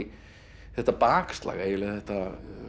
þetta bakslag þetta